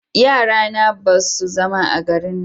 yara na ba su zama a garin nan